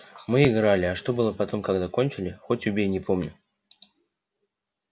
мы играли а что было потом когда кончили хоть убей не помню